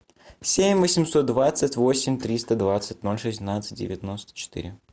семь восемьсот двадцать восемь триста двадцать ноль шестнадцать девяносто четыре